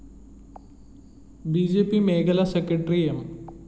B J P മേഖലാ secretary M